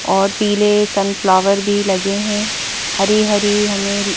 और पीले sunflower भी लगे हैं हरी हरी हमें--